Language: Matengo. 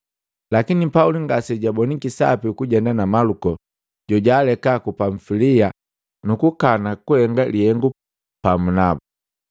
Lakini Pauli ngase jabona sapi kujenda na Maluko, jojaaleka ku Pamfilia nukukana kuhenga lihengu pamu nabu.